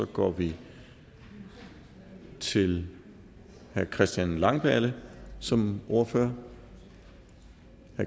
går vi til herre christian langballe som ordfører